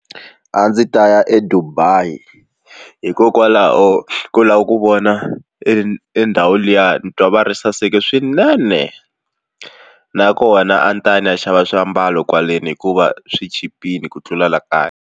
A ndzi ta ya eDubai hikokwalaho ko lava ku vona e ndhawu liya ni twa va ri yi saseka swinene nakona a ndzi ta ya ndzi ya xava swiambalo kwaleni hikuva swi chipile ku tlula la kaya.